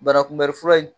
Banakunbɛnli fura in